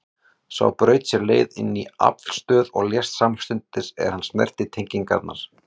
Sá braut sér leið inn í aflstöð og lést samstundis er hann snerti tengingarnar.